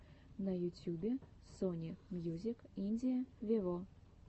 на ютюбе сони мьюзик индия вево